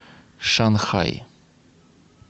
шанхай